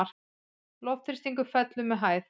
Loftþrýstingur fellur með hæð.